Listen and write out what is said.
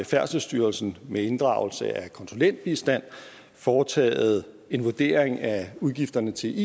færdselsstyrelsen med inddragelse af konsulentbistand foretaget en vurdering af udgifterne til